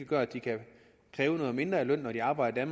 gør at de kan kræve noget mindre i løn når de arbejder i